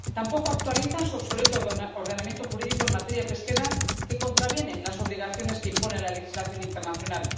tampoco actualizan su obsoleto ordenamiento jurídico en materia pesquera, que contraviene las obligaciones que impone la legislación internacional.